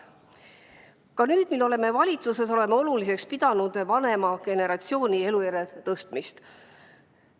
Ka nüüd, mil oleme valitsuses, peame oluliseks vanema generatsiooni elujärje tõstmist.